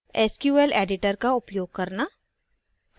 sql editor का उपयोग करना